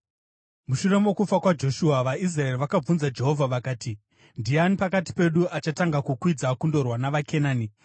Mushure mokufa kwaJoshua, vaIsraeri vakabvunza Jehovha vakati, “Ndiani pakati pedu achatanga kukwidza kundorwa navaKenani?”